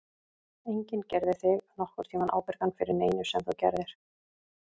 Enginn gerði þig nokkurn tímann ábyrgan fyrir neinu sem þú gerðir.